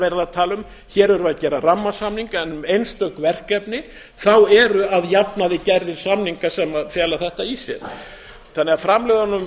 að tala um hér erum við að gera rammasamning en um einstök verkefna eru að jafnaði gerðir samningar sem fela þetta í sér þannig að